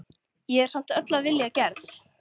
Ég er samt öll af vilja gerð.